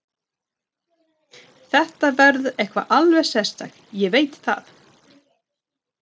Þetta verður eitthvað alveg sérstakt, ég veit það.